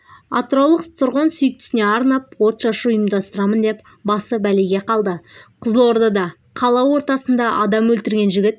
атыраулық тұрғын сүйіктісіне арнап отшашу ұйымдастырамын деп басы бәлеге қалды қызылордада қала ортасында адам өлтірген жігіт